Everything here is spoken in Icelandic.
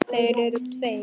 Þeir eru tveir.